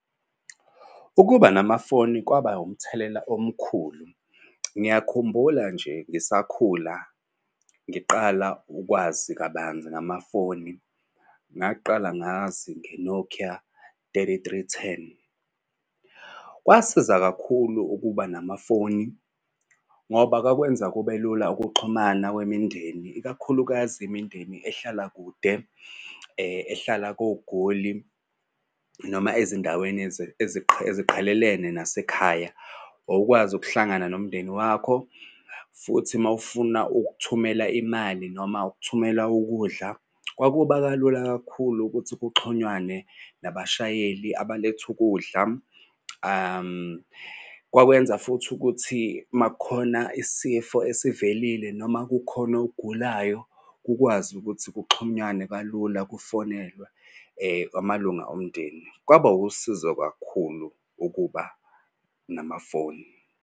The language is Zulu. Ukuba namafoni kwaba umthelela omkhulu. Ngiyakhumbula nje ngisakhula ngiqala ukwazi kabanzi ngamafoni, ngaqala ngazi nge-Nokia thirty-three ten. Kwasiza kakhulu ukuba namafoni ngoba kwakwenza kubelula ukuxhumana kwemindeni, ikakhulukazi imindeni ehlala kude. Ehlala koGoli noma ezindaweni eziqhelelene nasekhaya wawukwazi ukuhlangana nomndeni wakho. Futhi uma ufuna ukuthumela imali noma ukuthumela ukudla kwakuba kalula kakhulu ukuthi kuxhunywane nabashayeli abaletha ukudla. Kwakwenza futhi ukuthi uma kukhona isifo esivelile noma kukhona ogulayo, kukwazi ukuthi kuxhunywane kalula kufonelwe amalunga omndeni. Kwaba wusizo kakhulu ukuba namafoni.